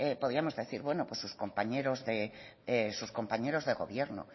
podíamos decir bueno pues sus compañeros de gobierno